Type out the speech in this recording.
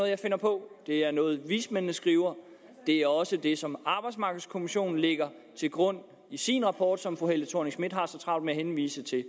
jeg finder på det er noget vismændene skriver det er også det som arbejdsmarkedskommissionen lægger til grund i sin rapport som fru helle thorning schmidt har så travlt med at henvise til